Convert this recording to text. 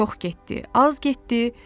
O çox getdi, az getdi.